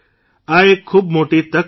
આ એક ખૂબ મોટી તક છે